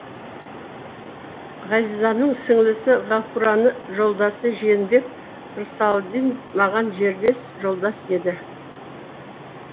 ғазизаның сіңлісі ғафураның жолдасы жиенбек рсалдин маған жерлес жолдас еді